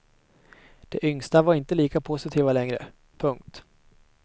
De yngsta var inte lika positiva längre. punkt